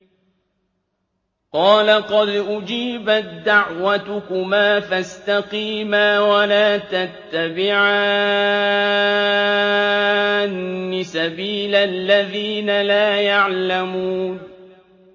قَالَ قَدْ أُجِيبَت دَّعْوَتُكُمَا فَاسْتَقِيمَا وَلَا تَتَّبِعَانِّ سَبِيلَ الَّذِينَ لَا يَعْلَمُونَ